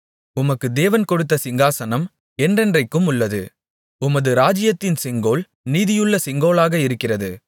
உமக்கு தேவன் கொடுத்த சிங்காசனம் என்றென்றைக்குமுள்ளது உமது ராஜ்ஜியத்தின் செங்கோல் நீதியுள்ள செங்கோலாக இருக்கிறது